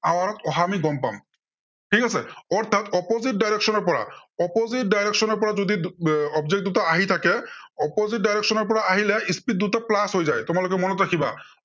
hour ত অহা আমি গম পাম। ঠিক আছে, অৰ্থাত opposite direction ৰ পৰা opposite direction ৰ পৰা যদি object দুটা আহি থাকে, opposite direction ৰ পৰা আহিলে speed দুটা plus হৈ যায়। তোমালোকে মনত ৰাখিবা।